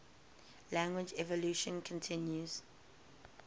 language evolution continues